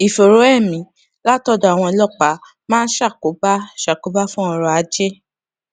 ìfòòró emi látòdò àwọn ọlópàá máa ń ṣàkóbá ṣàkóbá fún oro aje